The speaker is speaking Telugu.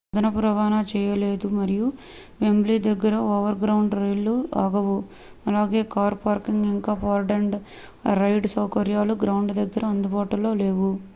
అదనపు రవాణా చేయలేదు మరియు వెంబ్లీ దగ్గర ఓవర్గ్రౌండ్ రైళ్లు ఆగవు అలాగే కార్ పార్కింగ్ ఇంకా పార్క్-అండ్-రైడ్ సౌకర్యాలు గ్రౌండ్ దగ్గర అందుబాటులో లేవు